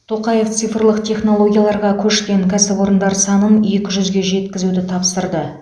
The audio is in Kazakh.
тоқаев цифрлық технологияларға көшкен кәсіпорындар санын екі жүзге жеткізуді тапсырды